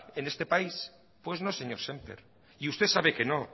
en este país pues no señor semper y usted sabe que no